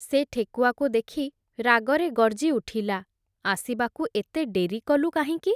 ସେ ଠେକୁଆକୁ ଦେଖି ରାଗରେ ଗର୍ଜିଉଠିଲା, ଆସିବାକୁ ଏତେ ଡେରି କଲୁ କାହିଁକି ।